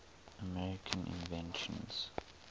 american inventions